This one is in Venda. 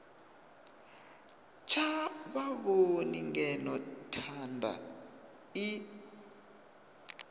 tsha vhavhoni ngeno thanda i